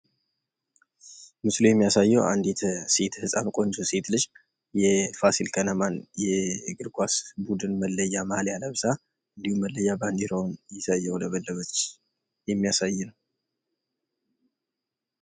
ምስሉ የሚያሳየው አንዲት ሴት ህጻን ጎንጆ ሴት ልጅ የፋሲል ከነማን የእግርኳስ ቡድን መለያ ማሊያ ለብሳ እንድሁም መለያ ባንድራውን ይዛ እያውለበለበች የሚያሳይ ነው።